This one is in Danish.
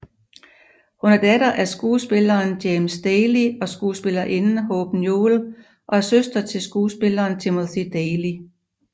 Hun er datter af skuespilleren James Daly og skuespillerinden Hope Newell og er søster til skuespilleren Timothy Daly